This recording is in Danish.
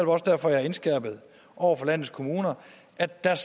også derfor jeg har indskærpet over for landets kommuner at der